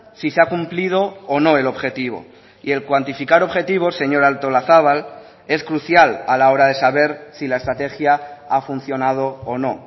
si se ha cumplido o no el objetivo y el cuantificar objetivos señora artolazabal es crucial a la hora de saber si la estrategia ha funcionado o no